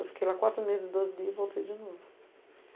Eu fiquei lá quatro meses e doze dias e voltei de novo.